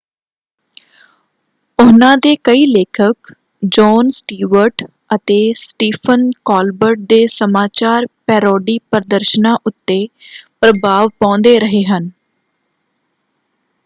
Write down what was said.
ਉਹਨਾਂ ਦੇ ਕਈ ਲੇਖਕ ਜੌਨ ਸਟੀਵਰਟ ਅਤੇ ਸੱਟੀਫਨ ਕੋਲਬਰਟ ਦੇ ਸਮਾਚਾਰ ਪੈਰੋਡੀ ਪ੍ਰਦਰਸ਼ਨਾਂ ਉੱਤੇ ਪ੍ਰਭਾਵ ਪਾਉਂਦੇ ਰਹੇ ਹਨ।